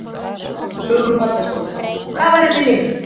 Hugrún Halldórsdóttir: Hvað verðið þið lengi?